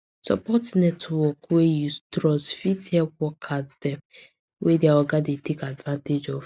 support network wey you trust fit help workers dem wey dia oga dey take advantage of